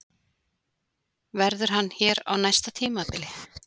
Verður hann hér á næsta tímabili?